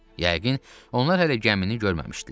Yəqin onlar hələ gəmini görməmişdilər.